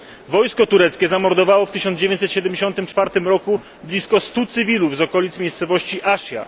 Wojsko tureckie zamordowało w 1974 roku blisko stu cywilów z okolic miejscowości Ashia.